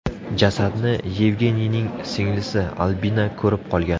Jasadni Yevgeniyning singlisi Albina ko‘rib qolgan.